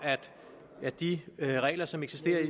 at de regler som eksisterer